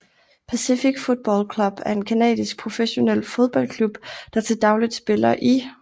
Pacific Football Club er en canadisk professionel fodboldklub der til dagligt spiller i